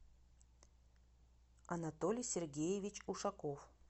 анатолий сергеевич ушаков